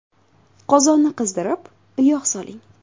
Qozonni qizdirib, yog‘ soling.